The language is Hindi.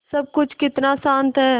सब कुछ कितना शान्त है